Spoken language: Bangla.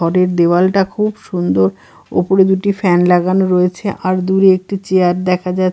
ঘরের দেওয়ালটা খুব সুন্দর ওপরে দুটি ফ্যান লাগানো রয়েছে আর দূরে একটি চেয়ার দেখা যা--